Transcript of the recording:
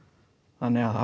þannig að það